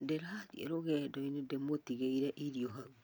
Ndĩrathi rũgendo-inĩ ndĩmũtigĩire irio hau